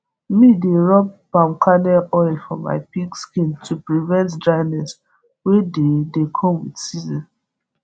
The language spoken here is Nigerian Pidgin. mi dey rub palm kernal oil for my pig skin to prevent dryness wey dey dey come with season